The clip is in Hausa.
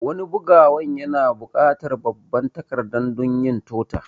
Wani bugawan yana bukatar babban takarda dunyin tota